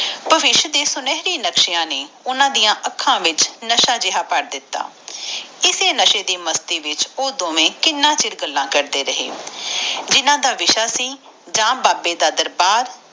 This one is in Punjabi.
ਭਵਿਸ਼ ਦੇ ਸੁਨਹਿਰੀ ਸੁਪਨਿਆਂ ਨੇ ਓਹਨਾ ਦੀਆ ਅੱਖਾਂ ਵਿਚ ਨਸ਼ਾ ਜਾ ਭਰ ਦਿਤਾ ਐਸੇਨਸ਼ੇ ਦੀ ਮਸਤੀ ਵਿਚ ਉਹ ਦੋਵੇ ਕਿੰਨਾ ਚਿਰ ਮਸਤੀ ਵਿਚ ਕਿੰਨਾ ਚਿਰ ਗੱਲਾਂ ਕਰਦ ਰਹੇ ਗੱਲਾਂ ਦਾ ਵਿਸ਼ਾ ਸੀ ਅੰਬਰਸਰ ਡਾ ਵਰਦੀਆਂ ਆ ਬਾਬੇ ਦਾ ਦਰਬਾਰ